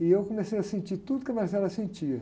E eu comecei a sentir tudo o que a sentia.